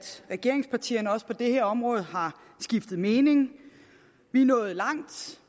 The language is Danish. regeringspartierne også på det her område har skiftet mening vi er nået langt